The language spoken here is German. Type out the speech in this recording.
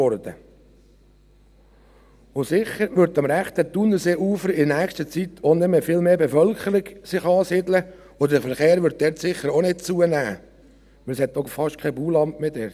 Und sicher wird sich in nächster Zeit am rechten Thunerseeufer auch nicht mehr viel mehr Bevölkerung ansiedeln, und der Verkehr wird dort sicher auch nicht zunehmen, denn es hat dort fast kein Bauland mehr.